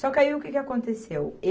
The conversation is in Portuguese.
Só que aí o que que aconteceu?